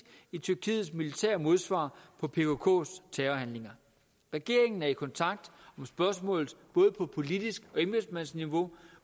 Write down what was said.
i tyrkiets militære modsvar på pkks terrorhandlinger regeringen er i kontakt om spørgsmålet både på politisk embedsmandsniveau